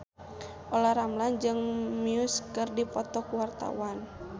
Olla Ramlan jeung Muse keur dipoto ku wartawan